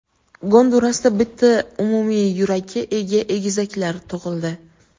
Gondurasda bitta umumiy yurakka ega egizaklar tug‘ildi.